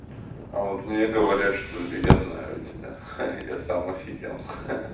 а вот мне говорят что я знаю тебя я сам офигел ха-ха